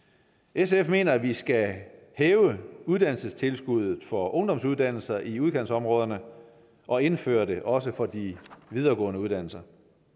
sf mener at vi skal hæve uddannelsestilskuddet for ungdomsuddannelser i udkantsområderne og indføre det også for de videregående uddannelser